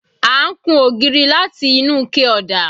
À ń kun ògiri láti inú ike ọ̀dà